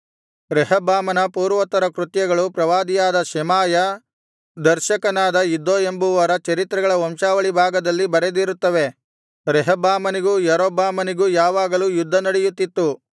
ರೆಹಬ್ಬಾಮನ ಪೂರ್ವೋತ್ತರ ಕೃತ್ಯಗಳು ಪ್ರವಾದಿಯಾದ ಶೆಮಾಯ ದರ್ಶಕನಾದ ಇದ್ದೋ ಎಂಬುವರ ಚರಿತ್ರೆಗಳ ವಂಶಾವಳಿ ಭಾಗದಲ್ಲಿ ಬರೆದಿರುತ್ತವೆ ರೆಹಬ್ಬಾಮನಿಗೂ ಯಾರೊಬ್ಬಾಮನಿಗೂ ಯಾವಾಗಲೂ ಯುದ್ಧನಡೆಯುತ್ತಿತ್ತು